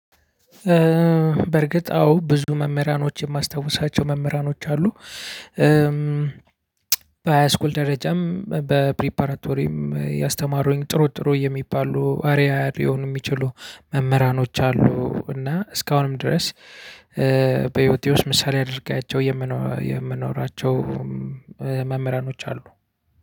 በእርግጥ አዎ ብዙ መምህራኖች የማስታውሳቸው መምህራኖች አሉ። በሃይ ስኩል ደረጃም በፕሪፓራቶሪም ያስተማሩኝ ጥሩ ጥሩ የሚባሉ አርዓያ ሊሆኑ የሚችሉ መምህራኖች አሉ። እና እስካሁንም ድረስ በህይወቴ ውስጥ ምሳሌ አድርጊያቸው የምኖራቸው መምህራኖች አሉ።